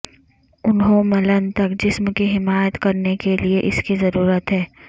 انہوں ملن تک جسم کی حمایت کرنے کے لئے اس کی ضرورت ہے